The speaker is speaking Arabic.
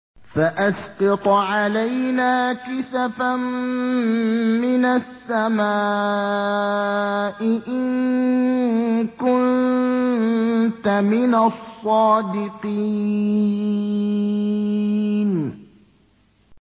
فَأَسْقِطْ عَلَيْنَا كِسَفًا مِّنَ السَّمَاءِ إِن كُنتَ مِنَ الصَّادِقِينَ